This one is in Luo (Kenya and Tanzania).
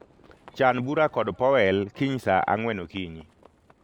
Chan bura kod Powel kiny saa ang'wen okinyi